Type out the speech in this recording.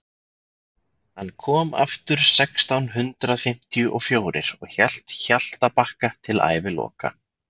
hann kom aftur sextán hundrað fimmtíu og fjórir og hélt hjaltabakka til æviloka